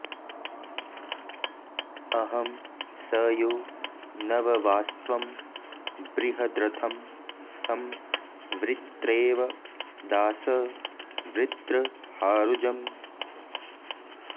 अ॒हं स यो नव॑वास्त्वं बृ॒हद्र॑थं॒ सं वृ॒त्रेव॒ दासं॑ वृत्र॒हारु॑जम्